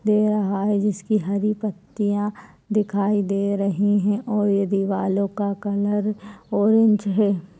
दे रहा है जिसकी हरी पत्तियाँ दिखाई दे रहीं हैं और ये दिवालों का कलर ऑरेंज है।